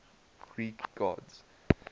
greek gods